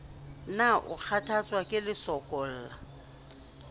na o kgathatswa ke lesokolla